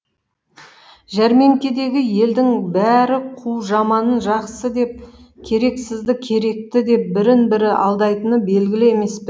жәрмеңкедегі елдің бәрі қу жаманын жақсы деп керексізді керекті деп бірін бірі алдайтыны белгілі емес пе